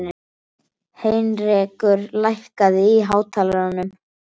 Heinrekur, lækkaðu í hátalaranum.